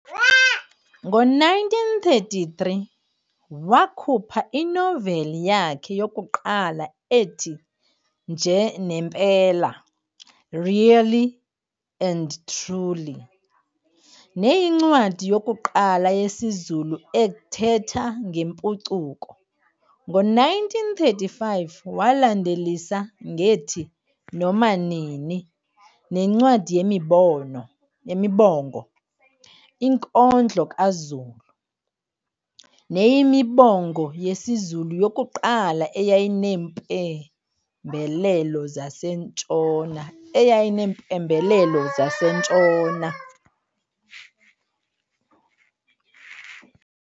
Ngo-1933 wakhupha inoveli yakhe yokuqala ethi "Nje nempela", "Really and Truly", neyincwadi yokuqala yesiZulu ethetha ngempucuko. Ngo-1935 walandelisa ngethi "Noma nini" nencwadi yemibongo "Inkondlo kaZulu", nekuyimibongo yesiZulu yokuqala eyayineempembelelo zaseNtshona.